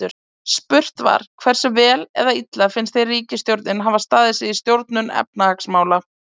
Spurt var: Hversu vel eða illa finnst þér ríkisstjórnin hafa staðið sig í stjórnun efnahagsmála?